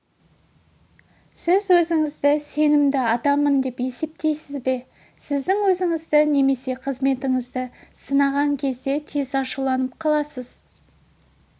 сіз өзіңізді сенімді адаммын деп есептейсіз бе сіздің өзіңізді немесе қызметіңізді сынаған кезде тез ашуланып қаласыз